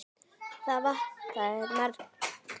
Það vantaði margt.